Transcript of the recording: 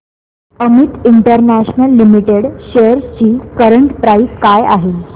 Amit international limited shares ची current price काय आहे